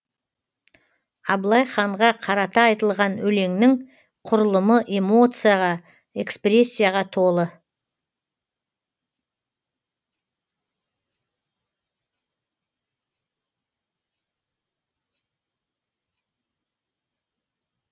абылай ханға қарата айтылған өлеңнің құрылымы эмоцияға экспрессияға толы